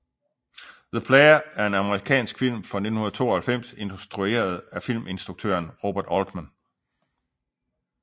The Player er en amerikansk film fra 1992 instrueret af filminstruktøren Robert Altman